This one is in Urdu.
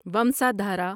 ومسادھارا